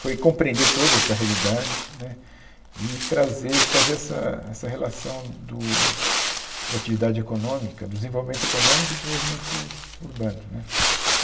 Foi compreender toda essa realidade né e trazer e fazer essa essa relação do da atividade econômica, do desenvolvimento econômico e do desenvolvimento urbano né.